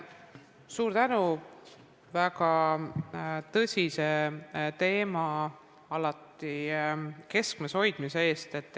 Suur tänu väga tõsise teema alati keskmes hoidmise eest!